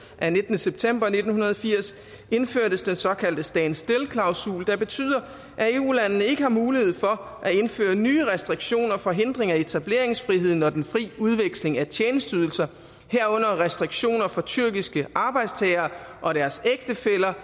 af nittende september nitten firs indførtes den såkaldte stand still klausul der betyder at eu landene ikke har mulighed for at indføre nye restriktioner for hindring af etableringsfriheden og den fri udveksling af tjenesteydelser herunder restriktioner for tyrkiske arbejdstagere og deres ægtefæller